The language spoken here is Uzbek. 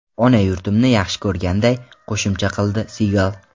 Ona yurtimni yaxshi ko‘rganday”, qo‘shimcha qildi Sigal.